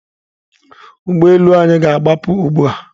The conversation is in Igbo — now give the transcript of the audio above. Ụgbọ elu anyị na-agbapụ ugbu a.